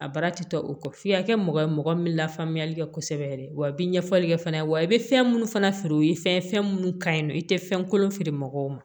A baara tɛ o kɔ f'i ka kɛ mɔgɔ ye mɔgɔ min bɛ lafaamuyali kɛ kosɛbɛ yɛrɛ wa i bɛ ɲɛfɔli kɛ fana ye wa i bɛ fɛn minnu fana feere o ye fɛn ye fɛn minnu ka ɲi nɔ i tɛ fɛn kolon feere mɔgɔw ma